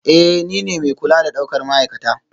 Ee, nine mai kula da daukar ma'aikata